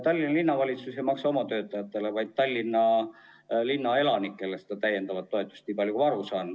Tallinna Linnavalitsus ei maksa mitte oma töötajatele, vaid Tallinna linna elanikele seda täiendavat toetust, nii palju kui ma aru saan.